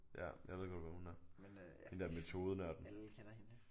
Ja jeg ved godt hvem hun er hende der metodenørden